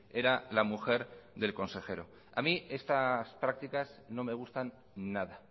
era la mujer del consejero a mí estas prácticas no me gustan nada